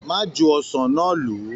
Má ju ọsán náà lù u.